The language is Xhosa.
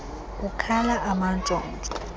kukhala amantshontsho enkuku